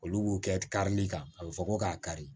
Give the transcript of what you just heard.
Olu b'u kɛ karili kan a bɛ fɔ ko k'a kari